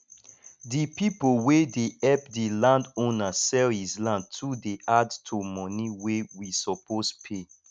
the people wey dey help the landowner sell his land too dey add to money wey we suppose pay